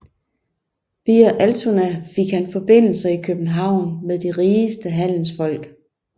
Via Altona fik han forbindelser i København med de rigeste handelsfolk